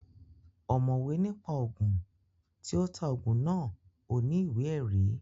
Ọ̀mọ̀wé ní pa Ògùn, tí ó ta Ògùn náà ò ní ìwé ẹ̀rí